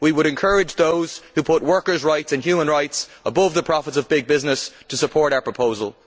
We would encourage those who put workers' rights and human rights above the profits of big business to support our proposal.